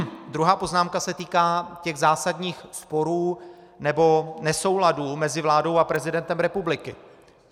Druhá poznámka se týká těch zásadních sporů nebo nesouladů mezi vládou a prezidentem republiky.